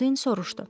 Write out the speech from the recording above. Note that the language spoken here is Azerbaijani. Boldin soruşdu.